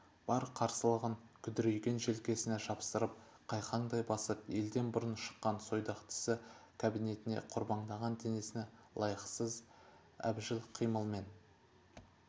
бар қарсылығын күдірейген желкесіне жапсырып қайқаңдай басып елден бұрын шыққан сойдақ тісі кабинетіне қорбаңдаған денесіне лайықсыз әбжіл қимылмен